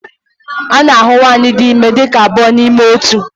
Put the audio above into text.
A na-ahụ nwanyị dị ime dị ka abụọ n'ime otu.